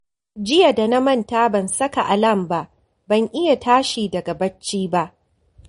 Jiya da na manta ban saka alam ba, ban iya tashi daga barci ba